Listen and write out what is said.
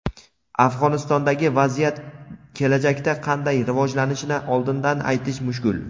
Afg‘onistondagi vaziyat kelajakda qanday rivojlanishini oldindan aytish mushkul.